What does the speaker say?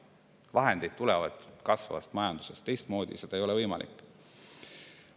Vahendid tulevad kasvavast majandusest, teistmoodi ei ole võimalik.